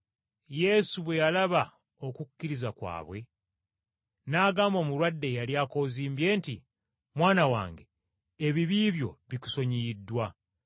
Yesu bwe yalaba okukkiriza kwabwe, n’agamba omulwadde eyali akoozimbye nti, “Mwana wange ebibi byo bikusonyiyiddwa.”